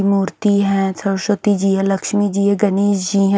मूर्ति है सरस्वती जी है लक्ष्मी जी है गणेश जी हैं।